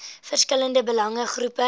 verskillende belange groepe